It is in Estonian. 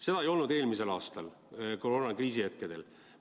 Seda ei olnud eelmisel aastal koroonakriisi hetkedel.